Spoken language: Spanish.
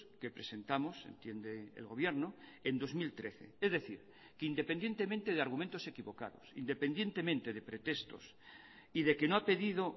que presentamos entiende el gobierno en dos mil trece es decir que independientemente de argumentos equivocados independientemente de pretextos y de que no ha pedido